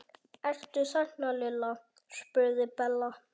Ertu þarna Lilla? spurði Bella.